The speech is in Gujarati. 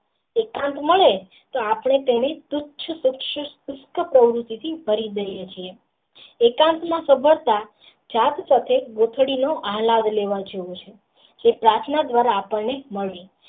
વિક્રાંત મળે તો આપણે અને સમૃદ્ધિ થી ભરી દિયે છીએ એકાંત માં સબરાતા જાત સાથે ગોથડી નું હલાવી લેવાય છે જે પ્રાર્થના દ્વારા મળે.